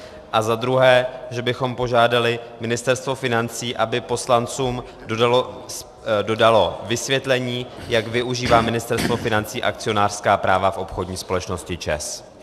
A za druhé, že bychom požádali Ministerstvo financí, aby poslancům dodalo vysvětlení, jak využívá Ministerstvo financí akcionářská práva v obchodní společnosti ČEZ.